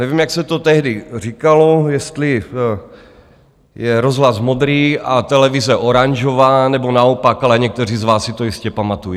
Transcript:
Nevím, jak se to tehdy říkalo, jestli je rozhlas modrý a televize oranžová, nebo naopak, ale někteří z vás si to jistě pamatují.